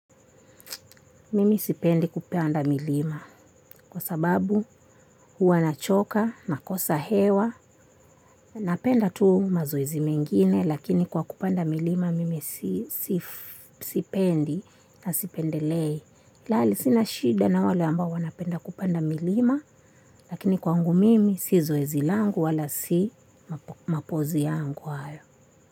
Mimi sipendi kupanda milima kwasababu huwa nachoka, nakosa hewa, napenda tu mazoezi mengine lakini kwa kupanda milima mimi sipendi na sipendelei. Lali sina shida na wale ambao wanapenda kupanda milima lakini kwangu mimi si zoezi langu wala si mapozi yangu hayo.